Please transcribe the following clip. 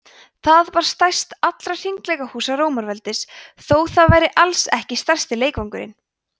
það var stærst allra hringleikahúsa rómaveldis þótt það væri alls ekki stærsti leikvangurinn